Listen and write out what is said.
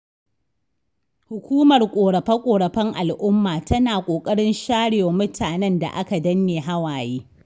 Hukumar ƙorafe-ƙorafen al'umma, tana ƙoƙarin sharewa mutanen da aka danne hawaye.